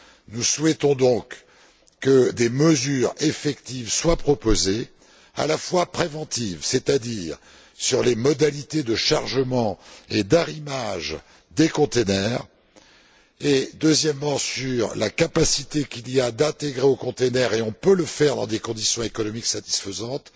Nous souhaitons donc que des mesures effectives soient proposées, à la fois préventives, c'est à dire sur les modalités de chargement et d'arrimage des conteneurs et sur la capacité qu'il y a d'intégrer aux conteneurs, et on peut le faire dans des conditions économiques satisfaisantes,